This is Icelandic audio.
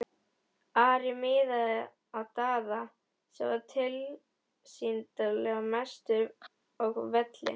Ari miðaði á Daða sem var tilsýndar mestur á velli.